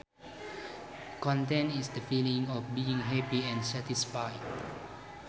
Content is the feeling of being happy and satisfied